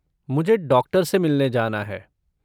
मुझे डॉक्टर से मिलने जाना है।